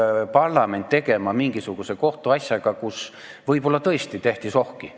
Mida peab parlament tegema mingisuguse kohtuasjaga, kus võib-olla tõesti tehti sohki?